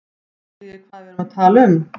Skiljið þið hvað við erum að tala um.